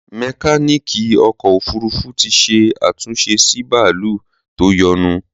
Mekaniki ọkọ òfurufú ti ṣe àtúnṣe sí bàálù tó yọnu